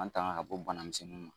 An tanga ka bɔ banamisɛnninw ma.